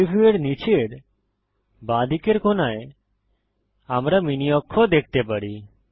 3ডি ভিউয়ের নীচের বাঁদিকের কোণায় আমরা মিনি অক্ষ দেখতে পারি